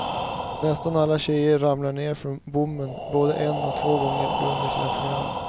Nästan alla tjejerna ramlar ner från bommen både en och två gånger under sina program.